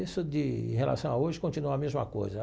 Isso de, em relação a hoje, continua a mesma coisa.